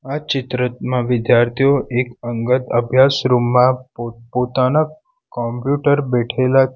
આ ચિત્રમાં વિદ્યાર્થીઓ એક અંગત અભ્યાસ રૂમ માં પો-પોતાના કોમ્પ્યુટર બેઠેલા છ --